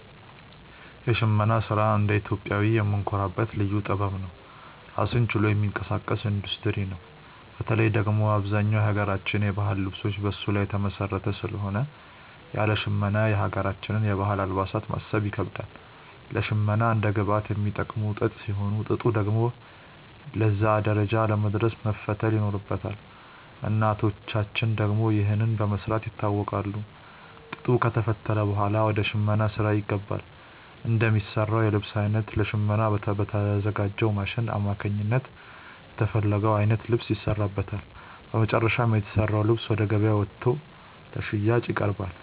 የሽመና ስራ እንደ ኢትዮጵያዊ የምንኮራበት ልዩ ጥበብ ነው። ራሱን ችሎ የሚንቀሳቀስ ኢንዱስትሪ ነው። በተለይ ደግሞ አብዛኛው የሀገራችን የባህል ልብሶች በሱ ላይ የተመሰረተ ስለሆነ ያለ ሽመና የሀገራችንን የባህል አልባሳት ማሰብ ይከብዳል። ለሽመና እንደ ግብአት የሚጠቀሙት ጥጥ ሲሆን፣ ጥጡ ደግሞ ለዛ ደረጃ ለመድረስ መፈተል ይኖርበታል። እናቶቻችን ደግሞ ይህንን በመስራት ይታወቃሉ። ጥጡ ከተፈተለ ብኋላ ወደ ሽመናው ስራ ይገባል። እንደሚሰራው የልብስ አይነት ለሽመና በተዘጋጅው ማሽን አማካኝነት የተፈለገው አይነት ልብስ ይሰራበታል። በመጨረሻም የተሰራው ልብስ ወደ ገበያ ወጥቶ ለሽያጭ ይቀርባል።